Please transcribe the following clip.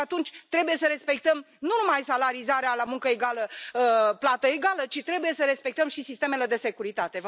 Și atunci trebuie să respectăm nu numai salarizarea la muncă egală, plată egală, ci trebuie să respectăm și sistemele de securitate.